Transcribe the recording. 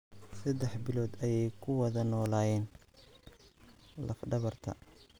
Saddex bilood ayay ku wada noolaayeen laf dhabarta.